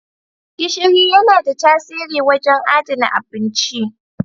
Gishiri yana da tasiri wajen adana abinci.